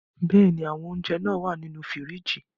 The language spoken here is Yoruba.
Bẹ́ẹ̀ ní, àwọn ounjẹ wà á ní inú fíríjì.